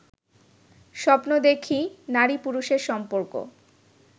স্বপ্ন দেখি নারী পুরুষের সম্পর্ক